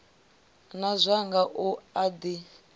na zwanga u a ḓi